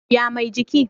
ya Mai jiki?